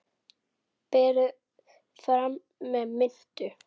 Berið fram með mintu.